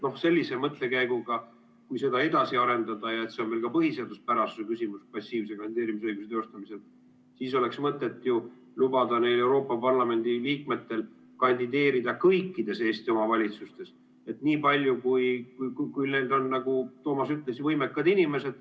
No kui sellist mõttekäiku edasi arendada, ja et see on ka põhiseaduspärasuse küsimus, see passiivse valimisõiguse teostamine, siis oleks ju mõtet lubada Euroopa Parlamendi liikmetel kandideerida kõikides Eesti omavalitsustes, kui nad on, nagu Toomas ütles, võimekad inimesed.